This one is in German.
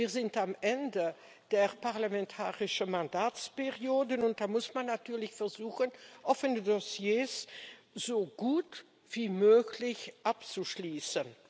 Wir sind am Ende der parlamentarischen Mandatsperiode, und da muss man natürlich versuchen, offene Dossiers so gut wie möglich abzuschließen.